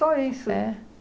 isso. É?